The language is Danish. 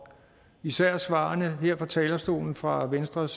især svarene her fra talerstolen fra venstres